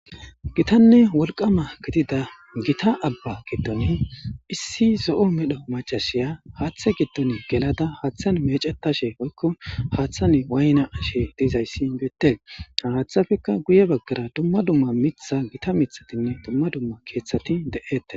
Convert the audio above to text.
gitanne wolqama gitida gita abba giddon issi zo7o medho macashiya haathe giddon gelada haaththan mecetashe poykko haaththan waayna ashe dizayssi beette haaththafekka guye baggara dumma dumma mitha gita mithatinne dumma dumma keeththati de7ette